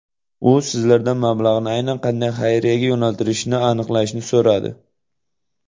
U sizlardan mablag‘ni aynan qanday xayriyaga yo‘naltirishni aniqlashni so‘radi.